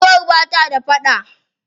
Giwar ba ta da faɗa.